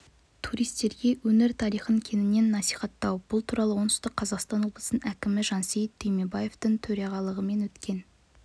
туристерге өңір тарихын кеңінен насихаттау бұл туралы оңтүстік қазақстан облысының әкімі жансейіт түймебаевтың төрағалығымен өткен